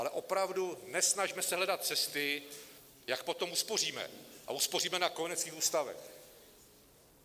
Ale opravdu nesnažme se hledat cesty, jak potom uspoříme, a uspoříme na kojeneckých ústavech.